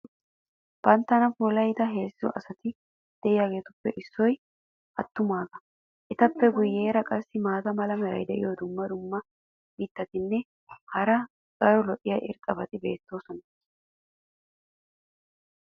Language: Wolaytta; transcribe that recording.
banttana puulayida heezzu asati diyaageetuppe issoy attumaagaa. etappe guyeera qassi maata mala meray diyo dumma dumma mitatinne hara daro lo'iya irxxabati beetoosona.